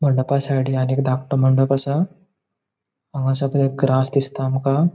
मंडपा साइडीन आनि एक धाकटो मंडप असा हांगा सगळे ग्रास दिसता आमका.